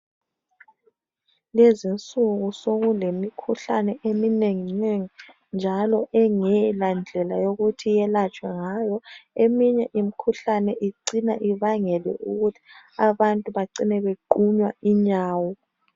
Lezi insuku, sokulemikhuhlane eminenginengi, njalo okuungelandlela yokuthi yelatshwe ngayo. Eminye imikhuhlahe icina ibangela ukuthi abantu bacine bequnywa inyawo.